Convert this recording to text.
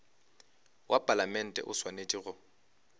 wa palamente o swanetše go